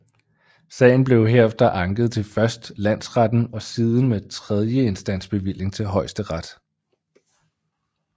Sagen blev herefter anket til først landsretten og siden med tredjeinstansbevilling til højesteret